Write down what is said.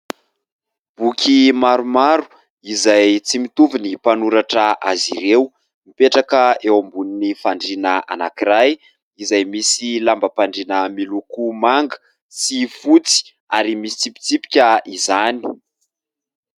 Boky maromaro izay tsy mitovy ny mpanoratra azy ireo. Mipetraka eo ambonin'ny fandriana anankiray izay misy lambam-pandriana miloko manga sy fotsy ary misy tsipitsipika izany.